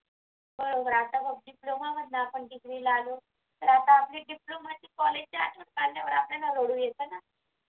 बरोबर आता आपण डिप्लोमा मधला आपण कितवी ला आलो तर आता आपली डिप्लोमाची कॉलेज जी असतात ना आठवण काढल्यावर आपल्याला रडू येतं ना.